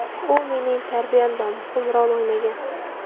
U mening tarbiyamda muhim rol o‘ynagan.